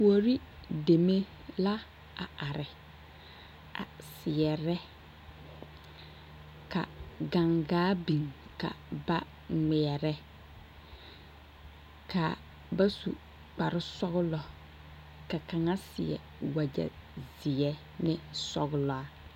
Kuori deme la a are a seɛrɛ ka gangaa biŋ ka ba ŋmeɛrɛ ka ba su kparesɔglɔ ka kaŋa seɛ wagyɛzeɛ ne sɔglaa.